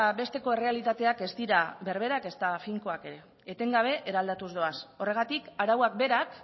besteko errealitateak ez dira berberak ezta finkoak ere etengabe eraldatuz doaz horregatik arauak berak